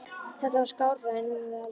Þetta var skárra en hún hafði haldið.